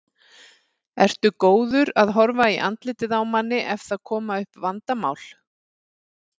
Ertu góður að horfa í andlitið á manni ef það koma upp vandamál?